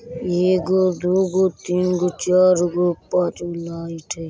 एगो दु गाे तीन गो चार गो पांच गो लाइट हय।